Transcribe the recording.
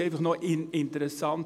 Es ist einfach interessant: